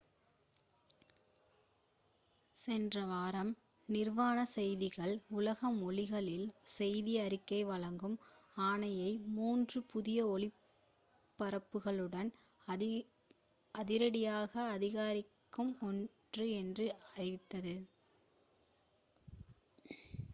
சென்ற வாரம் நிர்வாண செய்திகள் உலக மொழிகளில் செய்தி அறிக்கை வழங்கும் ஆணையை மூன்று three புதிய ஒளிபரப்புகளுடன் அதிரடியாக அதிகரிக்கும் என்று அறிவித்தது